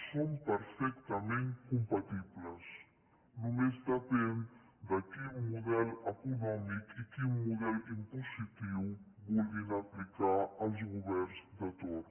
són perfectament compatibles només depèn de quin model econòmic i quin model impositiu vulguin aplicar els governs de torn